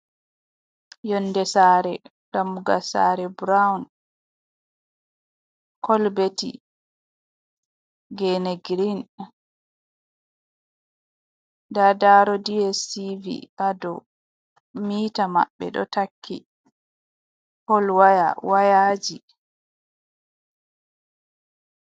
Yonde sare, dammugal sare burawn, kolberti, gene girin nda daro dstv ha dow, mita maɓɓe ɗo takki, polwaya wayaji.